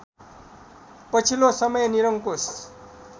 पछिल्लो समय निरंकुश